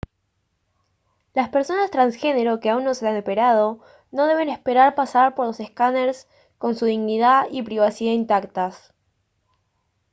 las personas transgénero que aún no se han operado no deben esperar pasar por los escáners con su dignidad y privacidad intactas